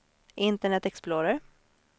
internet explorer